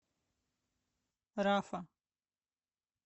рафа